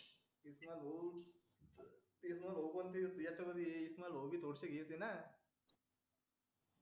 तेच ना भाऊ पण ते ॲडिशनल घेतलं ना